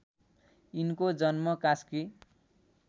यिनको जन्म कास्की